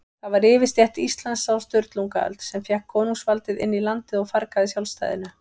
Það var yfirstétt Íslands á Sturlungaöld, sem fékk konungsvaldið inn í landið og fargaði sjálfstæðinu.